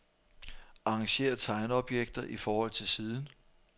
Arrangér tegneobjekter i forhold til siden.